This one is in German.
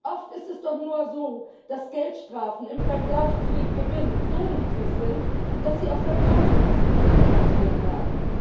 Oft ist es doch nur so, dass Geldstrafen im Vergleich zu dem Gewinn so niedrig sind, dass sie aus der Portokasse bezahlt werden.